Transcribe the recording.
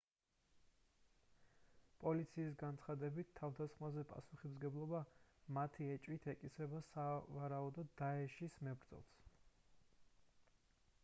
პოლიციის განცხადებით თავდასხმაზე პასუხისმგებლობა მათი ეჭვით ეკისრება სავარაუდოდ დაეშის isil მებრძოლს